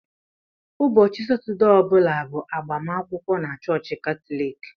Ụbọchị Satọdee ọ bụla bụ agbamakwụkwọ na chọọchị Katọlik.